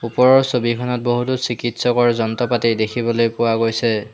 ওপৰৰ ছবিখনত বহুতো চিকিৎসকৰ যন্ত্ৰপাতি দেখিবলৈ পোৱা গৈছে।